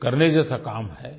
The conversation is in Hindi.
ये करने जैसा काम है